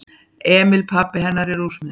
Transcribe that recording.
Emil pabbi hennar er úrsmiður.